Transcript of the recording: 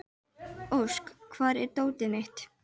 Ósk, hvar er dótið mitt?